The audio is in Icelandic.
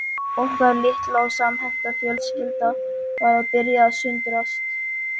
Okkar litla og samhenta fjölskylda var að byrja að sundrast